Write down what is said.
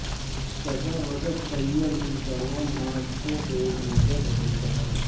صدر Recep Tayyip Erdogan Moscow کے ایک روزہ دورے پر